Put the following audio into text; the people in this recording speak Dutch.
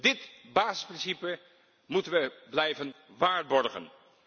Dit basisprincipe moeten we blijven waarborgen.